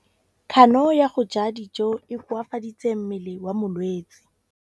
Kganô ya go ja dijo e koafaditse mmele wa molwetse.